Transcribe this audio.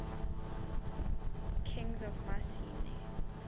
kings of mycenae